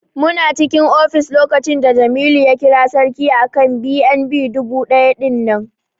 Muna cikin ofis lokacin da Jamilu ya kira Sarki akan BNB dubu ɗaya ɗinnan.